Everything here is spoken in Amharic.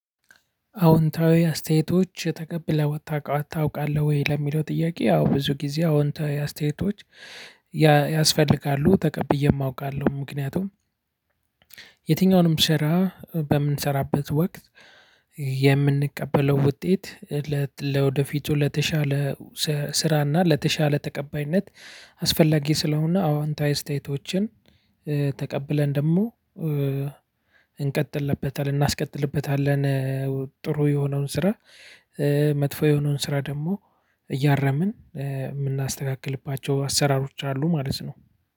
አዎንታዊ አስተያየቶች ተቀብለህ ታውቃለህ ወይ? ለሚለው ጥያቄ ያው ብዙ ጊዜ አዎንታዊ አስተያየቶች ያስፈልጋሉ ተቀብዬም አውቃለሁ ምክንያቱም የትኛውንም ስራ በምንሰራበት ወቅት የምንቀበለው ውጤት ለወደፊቱ ለተሻለ ስራ እና ለተሻለ ተቀባይነት አስፈላጊ ስለሆነ አዋንታዊ ስቴቶችን ተቀብለን ደግሞ እንቀጥልበታለን እናስቀጥልበታለን ጥሩ የሆነውን ስራ መጥፎ የሆነውን ስራ ደግሞ እያረምን የምናስተካክልባቸው አሰራሮች አሉ ማለት ነው።